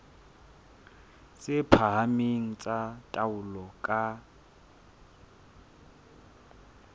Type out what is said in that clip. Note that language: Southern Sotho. tse phahameng tsa taolo ka